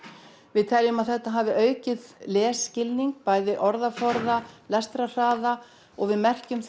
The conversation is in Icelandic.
við teljum að þetta hafi aukið lesskilning bæði orðaforða lestrarhraða og við merkjum